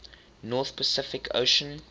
north pacific ocean